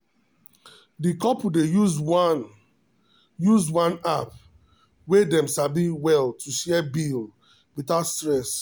the couple dey use one use one app wey dem sabi well to share bill without stress.